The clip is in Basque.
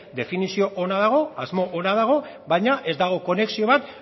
definizio ona dago asmo dago baina ez dago konexio bat